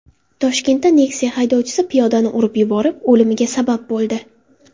Toshkentda Nexia haydovchisi piyodani urib yuborib, o‘limiga sabab bo‘ldi.